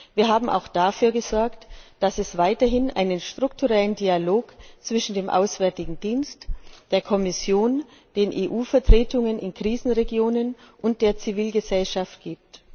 Wir haben auch dafür gesorgt, dass es weiterhin einen strukturellen Dialog zwischen dem Auswärtigen Dienst, der Kommission, den EU Vertretungen in Krisenregionen und der Zivilgesellschaft gibt.